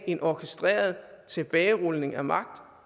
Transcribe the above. en orkestreret tilbagerulning af magt